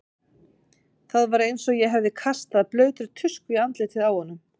Það var eins og ég hefði kastað blautri tusku í andlitið á honum.